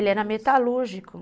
Ele era metalúrgico.